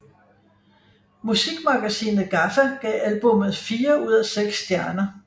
Musikmagasinet GAFFA gav albummet fire ud af seks stjerner